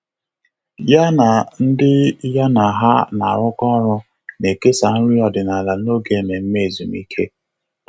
Yá na ndị ya na há nà-árụ́kọ́ ọ́rụ́ nà-èkèsá nrí ọ́dị́nála n’ógè ememe ezumike.